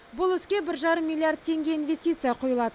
бұл іске бір жарым миллиард теңге инвестиция құйылады